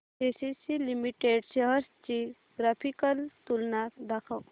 ACC limited shares ची graphical तुलना दाखव